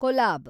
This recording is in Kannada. ಕೊಲಾಬ್